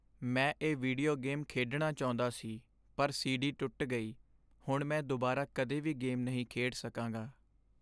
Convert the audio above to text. ਮੈਂ ਇਹ video game ਖੇਡਣਾ ਚਾਹੁੰਦਾ ਸੀ ਪਰ ਸੀਡੀ ਟੁੱਟ ਗਈ। ਹੁਣ ਮੈਂ ਦੁਬਾਰਾ ਕਦੇ ਵੀ ਗੇਮ ਨਹੀਂ ਖੇਡ ਸਕਾਂਗਾ।